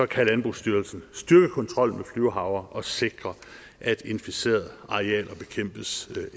kan landbrugsstyrelsen styrke kontrollen med flyvehavre og sikre at inficerede arealer bekæmpes